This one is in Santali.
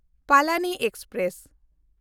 ᱯᱟᱞᱟᱱᱤ ᱮᱠᱥᱯᱨᱮᱥ